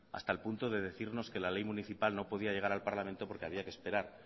hasta el punto de decirnos que la ley municipal no podía llegar la parlamento porque había que esperar